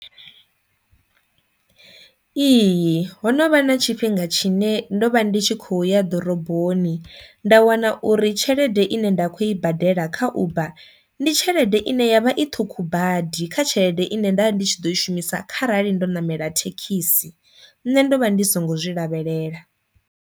Ihi ho no vha na tshifhinga tshine ndo vha ndi tshi kho ya ḓoroboni nda wana uri tshelede ine nda kho i badela kha uber ndi tshelede ine yavha i ṱhukhu badi kha tshelede ine nda ndi tshi ḓo i shumisa kharali ndo namela thekhisi, nṋe ndo vha ndi songo zwi lavhelela.